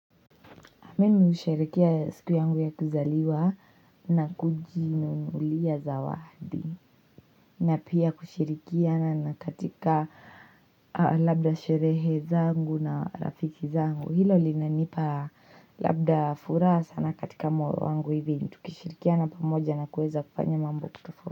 Mimi husherehekea siku yangu ya kuzaliwa na kujinunulia zawadi. Na pia kushirikiana na katika labda sherehe zangu na rafiki zangu. Hilo linanipa labda furaha sana katika moyo wangu hivi. Tukishirikiana pamoja na kueza kufanya mambo.